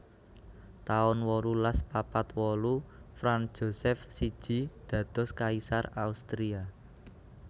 taun wolulas papat wolu Franz Josef siji dados kaisar Austria